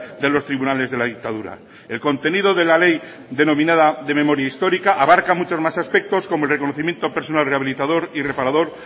de los tribunales de la dictadura el contenido de la ley denominada de memoria histórica abarca muchos más aspectos como el reconocimiento personal rehabilitador y reparador